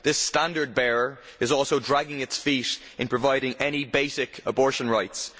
This standard bearer is also dragging its feet in providing any basic abortion rights.